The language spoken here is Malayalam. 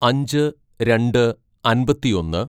"അഞ്ച് രണ്ട് അമ്പത്തിയൊന്ന്‌